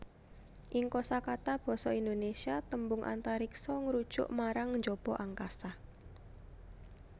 Ing kosakata basa Indonésia tembung Antariksa ngrujuk marang njaba angkasa